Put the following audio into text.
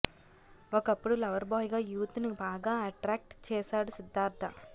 ఒకప్పుడు lover boy గా youth ని బాగా అట్రాక్ట్ చేశాడు సిద్ధార్థ